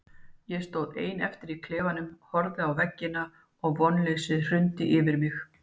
Ég stóð einn eftir í klefanum, horfði á veggina og vonleysið hrundi yfir mig.